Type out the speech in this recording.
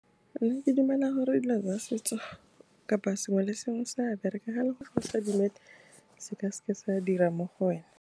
Mme ke dumela gore dilo tsa setso kapa sengwe le sengwe se a bereka, ga e le gore ga o sa dumele, se ka seke sa dira mo go wena.